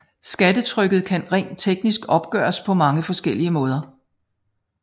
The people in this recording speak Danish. Skattetrykket kan rent teknisk opgøres på mange forskellige måder